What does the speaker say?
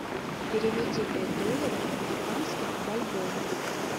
переведи пять долларов американских в бальбоа